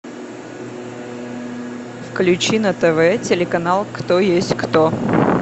включи на тв телеканал кто есть кто